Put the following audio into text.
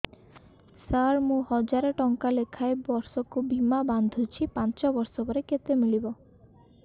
ସାର ମୁଁ ହଜାରେ ଟଂକା ଲେଖାଏଁ ବର୍ଷକୁ ବୀମା ବାଂଧୁଛି ପାଞ୍ଚ ବର୍ଷ ପରେ କେତେ ମିଳିବ